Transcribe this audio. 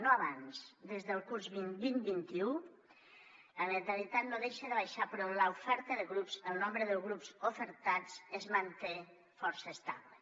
no abans des del curs vint vint un la natalitat no deixa de baixar però l’oferta de grups el nombre de grups ofertats es manté força estable